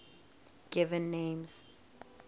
given names